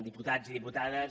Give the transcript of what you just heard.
diputats i diputades